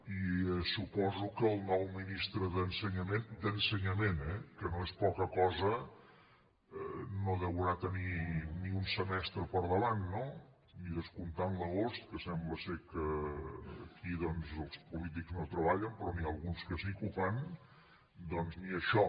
i suposo que el nou ministre d’ensenyament d’ensenyament eh que no és poca cosa no deurà tenir ni un semestre per davant no i descomptant l’agost que sembla que aquí els polítics no treballen però n’hi ha alguns que sí que ho fan doncs ni això